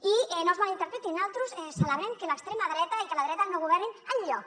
i no ens mal interpreti naltros celebrem que l’extrema dreta i la dreta no governin enlloc